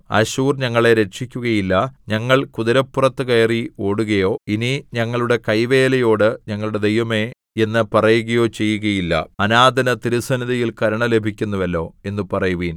അശ്ശൂർ ഞങ്ങളെ രക്ഷിക്കുകയില്ല ഞങ്ങൾ കുതിരപ്പുറത്തു കയറി ഓടുകയോ ഇനി ഞങ്ങളുടെ കൈവേലയോട് ഞങ്ങളുടെ ദൈവമേ എന്ന് പറയുകയോ ചെയ്യുകയില്ല അനാഥന് തിരുസന്നിധിയിൽ കരുണ ലഭിക്കുന്നുവല്ലോ എന്നു പറയുവിൻ